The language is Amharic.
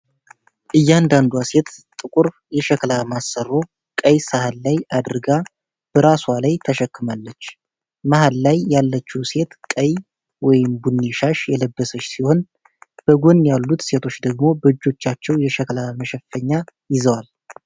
እያንዳንዷ ሴት ጥቁር የሸክላ ማሰሮ ቀይ ሳህን ላይ አድርጋ በራስዋ ላይ ተሸክማለች። መሀል ላይ ያለችው ሴት ቀይ/ቡኒ ሻሽ የለበሰች ሲሆን፣ በጎን ያሉት ሴቶች ደግሞ በእጆቻቸው የሸክላ መሸፈኛ ይዘዋል።